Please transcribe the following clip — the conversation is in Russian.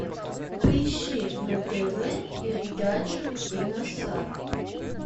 поищи на тв передачу киносад